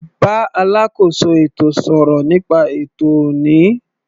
Bá alákóso ètò sọ̀rọ̀ nípa ètò ọ̀ní.